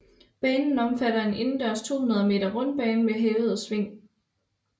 Banen omfatter en indendørs 200 meter rundbane med hævede sving